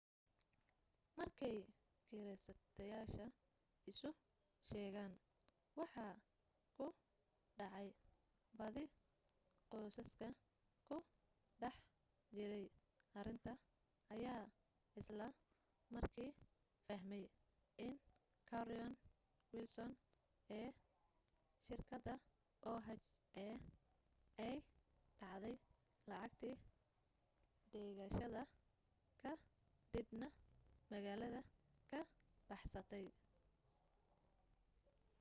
markay kireysteyaasha isu sheegeen waxa ku dhacay badi qoysaska ku dhex jiray arrinta ayaa isla markii fahmay in carolyn wilson ee shirkadda oha ay dhacday lacagtii dhigashada ka dib na magaalada ka baxsatay